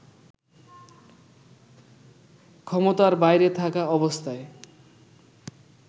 ক্ষমতার বাইরে থাকা অবস্থায়